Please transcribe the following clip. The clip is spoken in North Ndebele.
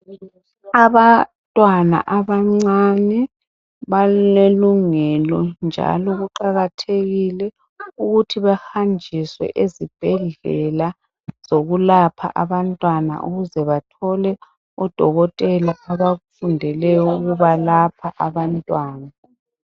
Abantwana abancane balelungelo njalo kuqakathekile ukuthi bahanjiswe ezibhedlela zokulapha abantwana ukuze bathole odokotela abafundeleyo ukubalapha abantwana.